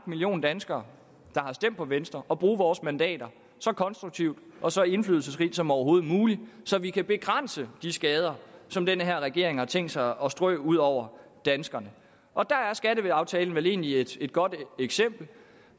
million danskere der har stemt på venstre at bruge vores mandater så konstruktivt og så indflydelsesrigt som overhovedet muligt så vi kan begrænse de skader som den her regering har tænkt sig at strø ud over danskerne og der er skatteaftalen vel egentlig et godt eksempel